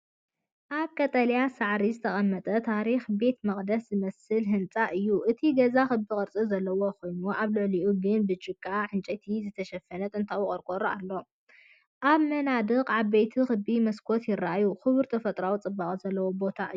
ኣብ ቀጠልያ ሳዕሪ ዝተቐመጠ ታሪኻዊ ቤተ መቕደስ ዝመስል ህንጻ እዩ። እቲ ገዛ ክቢ ቅርጺ ዘለዎ ኮይኑ፡ ኣብ ልዕሊኡ ግን ብጭቃን ዕንጨይትን ዝተሸፈነ ጥንታዊ ቆርቆሮ ኣሎ። ኣብ መናድቕ ዓበይቲ ክቢ መስኮታት ይረኣዩ። ክቡር ተፈጥሮኣዊ ጽባቐ ዘለዎ ቦታ እዩ።